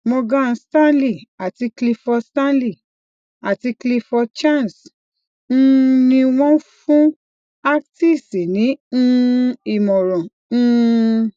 morgan stanley àti clifford stanley àti clifford chance um ni wọn fún actis ní um ìmọràn um